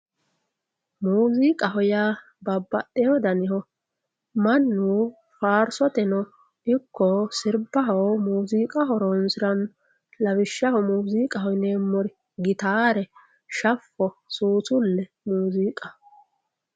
Muziiqaho yaa babbaxewo danihu mannu faarsoteno ikko sirbaho muziiqa horonsirano lawishshaho muziiqaho yineemmori gitare shafo susule muziiqaho.